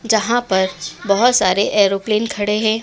जहां पर बहोत सारे एरोप्लेन खड़े हैं।